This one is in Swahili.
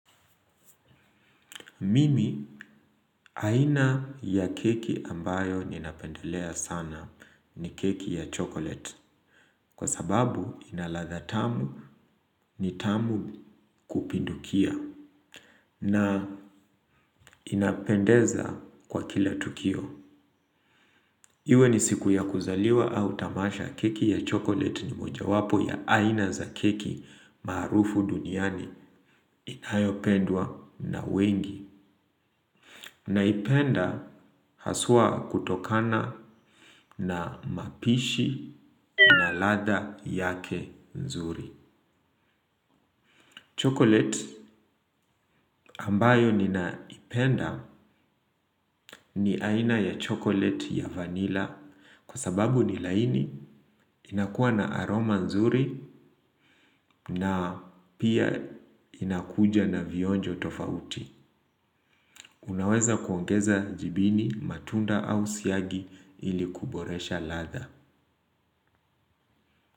Mimi aina ya keki ambayo ninapendelea sana ni keki ya chocolate. Kwa sababu inaladha tamu ni tamu kupindukia na inapendeza kwa kila tukio. Iwe ni siku ya kuzaliwa au tamasha keki ya chocolate ni moja wapo ya aina za keki maarufu duniani inayopendwa na wengi. Naipenda haswa kutokana na mapishi na ladha yake nzuri Chocolate ambayo ninaipenda ni aina ya chocolate ya vanilla. Kwa sababu ni laini inakuwa na aroma nzuri na pia inakuja na vionjo tofauti. Unaweza kuongeza jibini matunda au siyagi ilikuboresha latha.